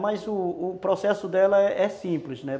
Mas o o processo dela é simples, né?